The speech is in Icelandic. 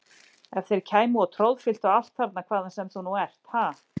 Ef þeir kæmu og troðfylltu allt þarna hvaðan sem þú nú ert, ha!